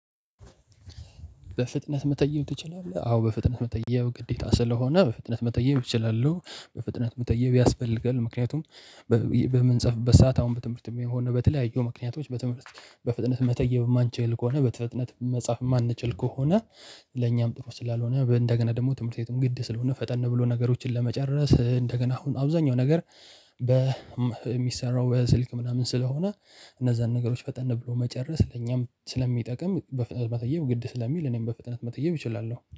በፍጥነት መተየብ ትችላለህ? አዎ በፍጥነት መተየብ ግዴታ ስለሆነ በፍጥነት መተየብ እችላለሁ። በፍጥነት መተየብ ያስፈልጋል። ምክንያቱም በምንጽፍበት ሰዓት አሁን በትምህርትም ይሁን በተለያዩ ምክንያቶች በፍጥነት መተየብ የማንችል ከሆነ በፍጥነት መጻፍ የማንችል ከሆነ ለኛም ጥሩ ስላልሆነ፤ እንደገና ደግሞ ትምህርት ቤትም ግድ ስለሆነ፤ ፈጠን ብሎ ነገሮችን ለመጨረስ፤ እንደገና አሁን አብዛኛው ነገር የሚሰራው በስልክ ምናምን ስለሆነ እነዛን ነገሮች ፈጠን ብሎ መጨረስ ለኛም ስለሚጠቅም በፍጥነት መተየብ ግድ ስለሚል እኔም በፍጥነት መተየብ እችላለሁ።